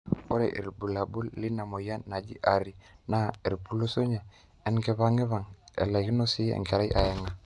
ore irbulabul leina mweyian naji ARI naa epulusunyie, enkipang'ipang, elaikino sii enkerai aeng'a